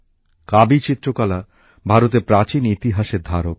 কাবী চিত্রকলা ভারতের প্রাচীন ইতিহাসের ধারক